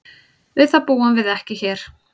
Við það búum við ekki hér.